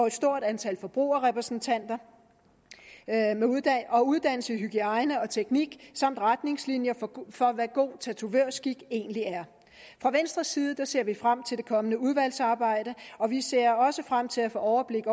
et stort antal forbrugerrepræsentanter og uddannelse i hygiejne og teknik samt retningslinjer for hvad god tatovørskik egentlig er fra venstres side ser vi frem til det kommende udvalgsarbejde og vi ser også frem til at få overblik